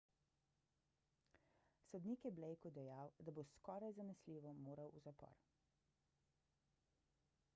sodnik je blakeu dejal da bo skoraj zanesljivo moral v zapor